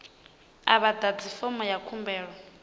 a vha ḓadzi fomo ya khumbelo